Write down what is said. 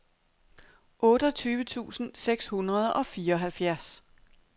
otteogtyve tusind seks hundrede og fireoghalvfjerds